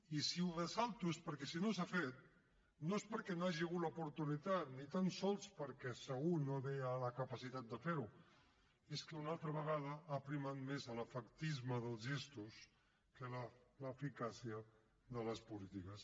i si ho ressalto és perquè si no s’ha fet no és perquè no hi hagi hagut l’oportunitat ni tan sols perquè segur no hi havia la capacitat de fer ho és que una altra vegada ha primat més l’efectisme dels gestos que l’eficàcia de les polítiques